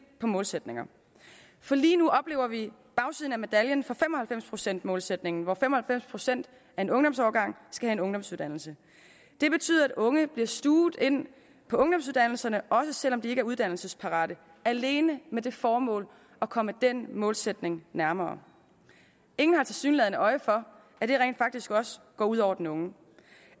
på målsætninger for lige nu oplever vi bagsiden af medaljen for fem og halvfems procents målsætningen hvor fem og halvfems procent af en ungdomsårgang skal have en ungdomsuddannelse det betyder at unge bliver stuvet ind på ungdomsuddannelserne også selv om de ikke er uddannelsesparate alene med det formål at komme den målsætning nærmere ingen har tilsyneladende øje for at det rent faktisk også går ud over den unge